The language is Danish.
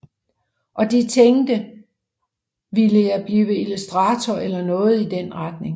Og de tænkte jeg ville blive illustrator eller noget i den retning